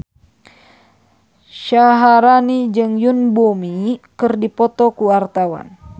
Syaharani jeung Yoon Bomi keur dipoto ku wartawan